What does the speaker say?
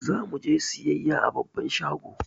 Zamu je siyayya a babban shago